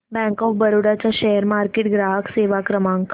bank of Baroda चा share market ग्राहक सेवा क्रमांक